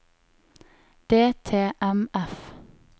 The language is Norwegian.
DTMF